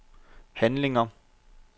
handlinger